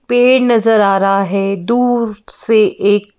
पेड़ नजर आ रहा है दूर से एक --